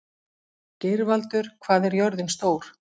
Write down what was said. Geirvaldur, hvað er jörðin stór?